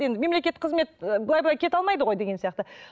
енді мемлекеттік қызмет былай былай кете алмайды ғой деген сияқты